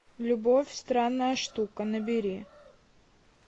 любовь странная штука набери